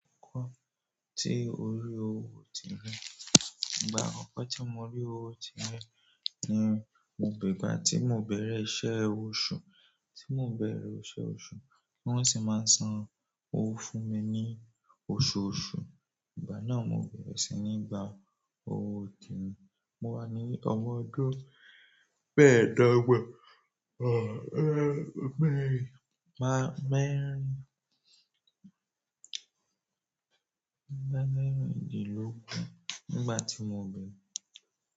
Akokọ tí orí owó ti rẹ, ìgbà akọkọ tí mo rí owó ti rẹ ni mo bẹ, ìgbà tí mò bẹ̀rẹ̀ iṣẹ́ oṣù, tí mò bẹ̀rẹ̀ oṣooṣù, wón sì máa ń san owó fún mi ní oṣooṣù. Ìgbà náà mò bẹ̀rẹ̀ sí ní gba owó tirin, mo wà ní ọmọ ọdún mẹ́ẹ̀dọ́gbọ̀n à é mẹ́rin má mẹ́rin, mẹ́rin dín lọ́gbọ̀n nígbà tí mò bẹ̀rẹ̀